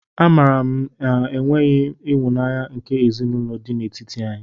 A maara m enweghị ịhụnanya nke ezinaụlọ dị n'etiti anyị.